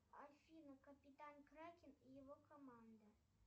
афина капитан кракен и его команда